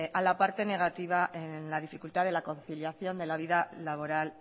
a la parte negativa en la dificultad de la conciliación de la vida laboral